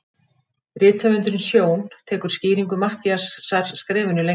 Rithöfundurinn Sjón tekur skýringu Matthíasar skrefinu lengra.